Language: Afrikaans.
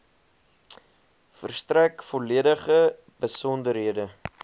verstrek volledige besonderhede